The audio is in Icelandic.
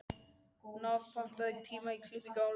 Náð, pantaðu tíma í klippingu á laugardaginn.